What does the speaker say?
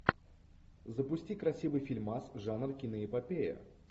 запусти красивый фильмас жанр киноэпопея